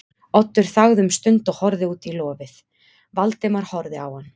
Oddur þagði um stund og horfði út í lofið, Valdimar horfði á hann.